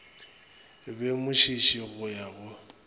be mošiši go ya go